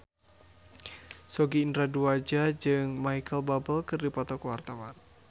Sogi Indra Duaja jeung Micheal Bubble keur dipoto ku wartawan